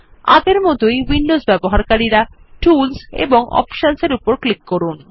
আগের মতই উইন্ডো ব্যবহারকারীরা টুলস এবং অপশনস এর উপর ক্লিক করুন